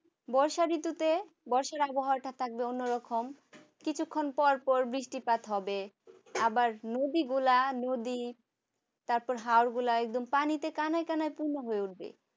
বর্ষা ঋতুতে বর্ষার আবহাওয়াটা থাকবে অন্যরকম কিছুক্ষণ পরপর বৃষ্টিপাত হবে আবার নদীগুলা নদী তারপর হাড়গোলা একবার পানিতে কানায় কানায় পূর্ণ হয়ে উঠবে